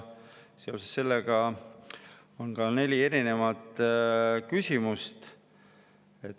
Seoses sellega on neli küsimust.